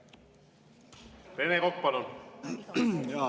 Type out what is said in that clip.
Rene Kokk, palun!